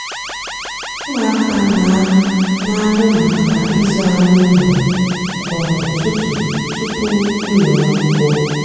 úmụaka nà-àhụ mákà ịzụ ánú úló kwá útútú túpú úló ákwúkwọ.